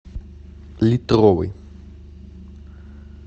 литровый